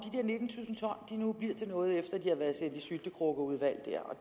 de nu bliver til noget efter at de har været sendt i syltekrukkeudvalget der og